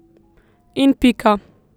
In pika.